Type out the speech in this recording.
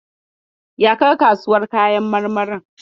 Ya ka ga kasuwar kayan marmarin?